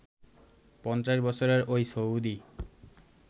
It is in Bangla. ৫০ বছরের ওই সৌদী